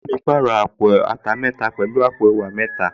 Ìyá mi pàrọ̀ àpò ata mẹ́ta pẹ̀lú àpò ẹ̀wà mẹ́ta